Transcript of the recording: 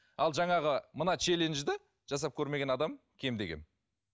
ал жаңағы мына челенджді жасап көрмеген адам кем де кем